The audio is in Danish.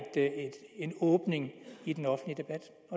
åbning i den offentlige debat